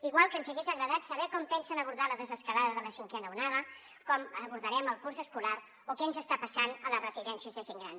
igual que ens hagués agradat saber com pensen abordar la desescalada de la cinquena onada com abordarem el curs escolar o què ens està passant a les residències de gent gran